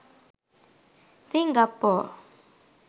singapore